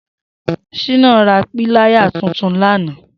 Shina rà pìláyá tùtùn làná